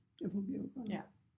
Det fungerer